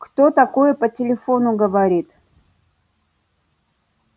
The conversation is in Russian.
кто такое по телефону говорит